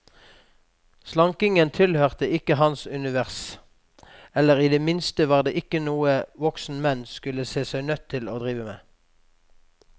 Slankingen tilhørte ikke hans univers, eller i det minste var det ikke noe voksne menn skulle se seg nødt til å drive med.